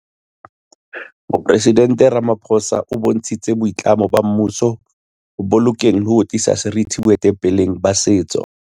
Moporesident Ramapho sa o bontshitse boitlamo ba mmuso ho bolokeng le ho tliseng seriti boetapeleng ba setso.